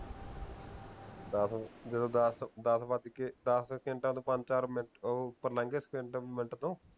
ਚੱਲ ਜਦੋਂ ਦੱਸ ਦੱਸ ਵੱਜ ਕੇ ਦੱਸ ਸਕੇਂਟਾ ਤੋਂ ਪੰਜ ਚਾਰ ਮਿੰਟ ਉਹ ਉਪਰ ਲੰਘ ਗਏ ਸਕੇਂਟ ਮਿੰਟ ਤੋਂ